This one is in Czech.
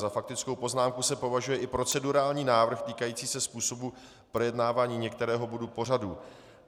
Za faktickou poznámku se považuje i procedurální návrh týkající se způsobu projednávání některého bodu pořadu.